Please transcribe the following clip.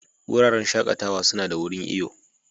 Wuraren shakatawa suna da wurin iyo.